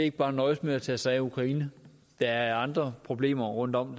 ikke bare nøjes med at tage sig af ukraine der er andre problemer rundtom